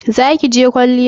Za ki je kwalliyar?